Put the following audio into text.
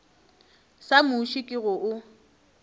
sa muši ke go o